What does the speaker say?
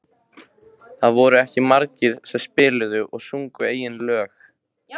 Það voru ekki margir sem spiluðu og sungu eigin lög.